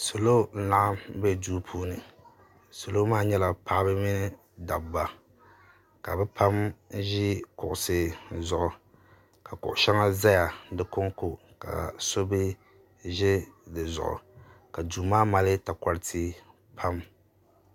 Salo n laɣim be duu puuni. Salo maa nyela paɣaba mini dabba. Ka bɛ pam ʒɛ kuɣisi zuɣu ka kuɣi sheŋa ʒɛya di konko ka so bi ʒɛ di zuɣu maa mali takoriti pam.